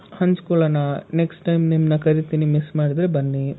ಹಂಚ್ ಕೊಳ್ಳೋಣ, next time ನಿಮ್ನ ಕರೀತೀನಿ miss ಮಾಡ್ದೆ ಬನ್ನಿ.